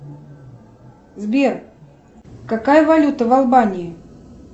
сбер какая валюта в албании